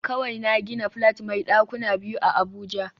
Kawai na gina flat mai dakuna biyu a abuja